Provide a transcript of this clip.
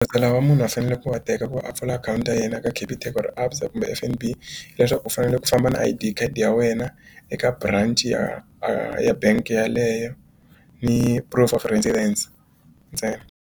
lawa munhu a fanele ku va teka ku a pfula akhawunti ya yena eka Capitec or ABSA kumbe F_N_B leswaku u fanele ku famba na I_D card ya wena eka branci ya ya bank yeleyo ni proof of residence ntsena.